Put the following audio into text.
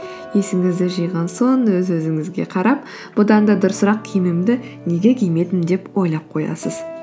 есіңізді жиған соң өз өзіңізге қарап бұдан да дұрысырақ киімімді неге кимедім деп ойлап қоясыз